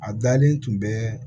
A dalen tun bɛ